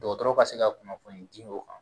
Dɔgɔtɔrɔ ka se ka kunnafoni di o kan